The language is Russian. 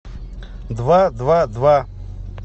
два два два